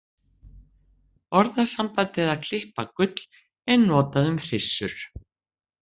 Orðasambandið að klippa gull er notað um hryssur.